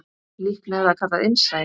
Líklega er það kallað innsæi.